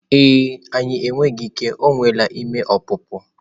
E e, anyị enweghị ike, o nweela ime ọpụpụ.